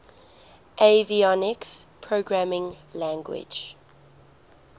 avionics programming language